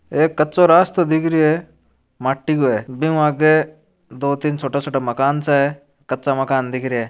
एक कच्चो रास्तो दिख रहियो है माटी को है बिऊ आगे दो तीन छोटा छोटा मकान सा है कच्चा मकान दिख रहिया है।